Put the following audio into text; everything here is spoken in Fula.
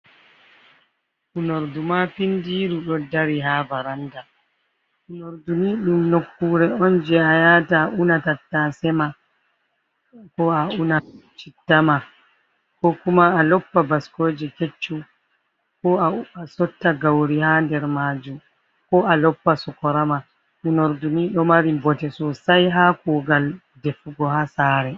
Unordu ma findiru do dari ha baranda, unordu ni dum nokkure on je a yata una tattasema ,ko a una chitta ma ,ko kuma a loppa baskoje keccum, a sotta gauri ha nder majum, ko a loppa sukorama ,unarduni do mari bote sosai ha kogal de fugo ha sare.